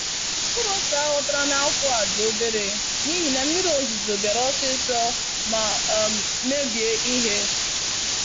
Mkpụrụ ose aghọtara n'afọ a dị obere n'ihi na mmiri ozuzo biara osisi ma um mebie ihe.